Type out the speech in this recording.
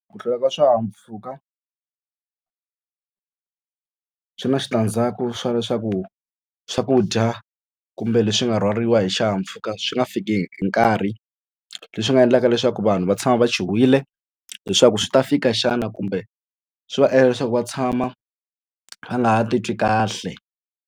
Ku hlwela ka swihahampfhuka swi na switandzhaku swa leswaku swakudya kumbe leswi nga rhwariwa hi xihahampfhuka swi nga fikangi hi nkarhi leswi nga endlaka leswaku vanhu va tshama va chuhile leswaku swi ta fika xana kumbe swi va endla leswaku va tshama va nga titwi kahle.